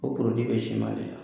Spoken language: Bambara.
O bɛ siman de la.